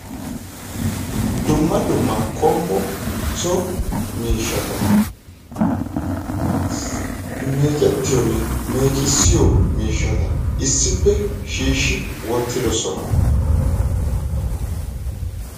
Dumma dumma qommo so miishshata meeccetiyoone meeccissiyo miishshat issippe shiishshi wottidoosona.